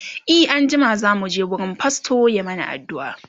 e an jima zamu je wurin fastor ya mana aduua